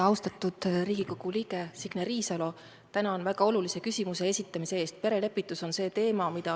Austatud Riigikogu liige Signe Riisalo, tänan väga olulise küsimuse esitamise eest!